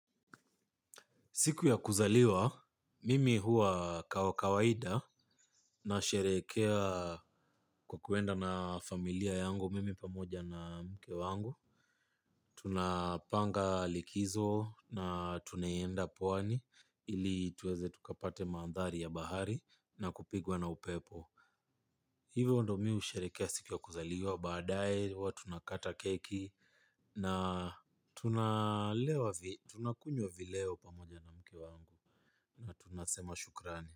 Siku ya kuzaliwa, mimi huwa kawa kawaida na sherehekea kwa kuenda na familia yangu mimi pamoja na mke wangu. Tunapanga likizo na tunaenda pwani ili tuweze tukapate mandhari ya bahari na kupigwa na upepo. Hivyo ndo mimi husherekea siku ya kuzaliwa baadaye, huwa tuna kata keki na tunakunywa vileo pamoja na mke wangu na tunasema shukrani.